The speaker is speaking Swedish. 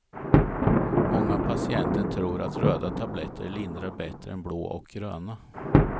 Många patienter tror att röda tabletter lindrar bättre än blå och gröna.